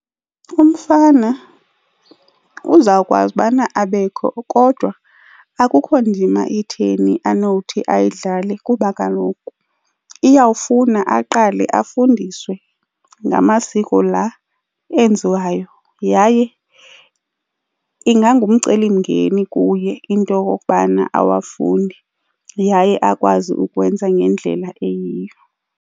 Umfana uza kwazi ubana abekho kodwa akukho ndima itheni anothi uyidlale kuba kaloku iyawufuna aqale afundiswe ngamasiko la enziwayo, yaye ingangumcelimngeni kuye into okokubana awafunde yaye akwazi ukuwenza ngendlela eyiyo.